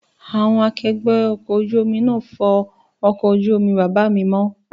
Àwọn akẹgbẹ́ ọkọ̀ ojú náà ń fọ ọkọ̀ ojú omi bàbá mi mọ́